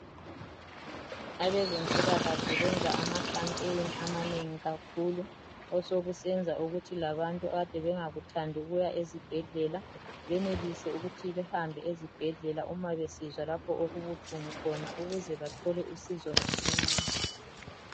Abazempilakahle benza ama khampeni amanengi kakhulu osokusenza ukuthi labantu abebengakuthamdi ukuya ezibhedlela benelise ukuya ezibhedlela uma besizwa lapho okibuhlungu khona ukuze bathole usizo masinyane.